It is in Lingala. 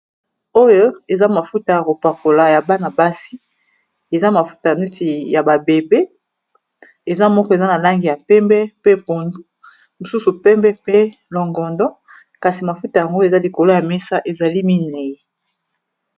Oyo eza mafuta ya ko pakola ya bana basi, eza mafuta ya ba bébé, eza moko eza na langi ya pembe pe pondu, mosusu pembe pe longondo, kasi mafuta yango eza likolo ya mesa , ezali mine..